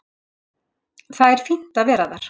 Það er fínt að vera þar.